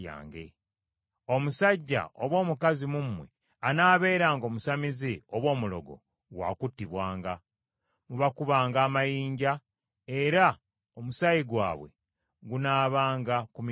“ ‘Omusajja oba omukazi mu mmwe anaabeeranga omusamize oba omulogo, wa kuttibwanga. Mubakubanga amayinja; era omusaayi gwabwe gunaabanga ku mitwe gyabwe.’ ”